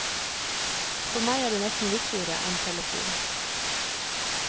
For meg er det nesten viktigere enn telefon.